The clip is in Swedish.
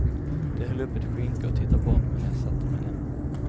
De höll upp ett skynke och tittade bort medan jag satte mig ner.